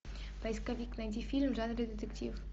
поисковик найди фильм в жанре детектив